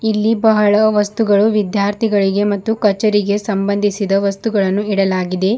ಇಲ್ಲಿ ಬಹಳ ವಸ್ತುಗಳು ವಿದ್ಯಾರ್ಥಿಗಳಿಗೆ ಮತ್ತು ಕಚೇರಿಗೆ ಸಂಬಂಧಿಸಿದ ವಸ್ತುಗಳನ್ನು ಇಡಲಾಗಿದೆ.